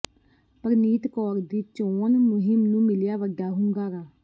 ਪਰਨੀਤ ਕੌਰ ਦੀ ਚੋਣ ਮੁਹਿੰਮ ਨੂੰ ਮਿਲਿਆ ਵੱਡਾ ਹੁੰਗਾਰਾ